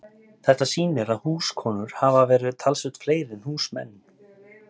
Þetta sýnir að húskonur hafa verið talsvert fleiri en húsmenn.